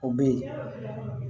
O bɛ yen